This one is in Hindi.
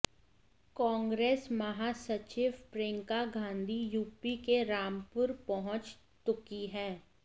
कांग्रेस महासचिव प्रियंका गांधी यूपी के रामपुर पहुंच तुकी हैं